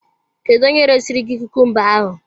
Kedu onye resiri gị kukumba ahụ?